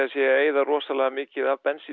eyða rosalega mikið af bensíni